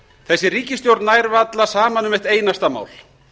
þessi ríkisstjórn nær varla saman um eitt einasta mál